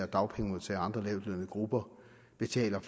dagpengemodtagere og andre lavtlønnede grupper betaler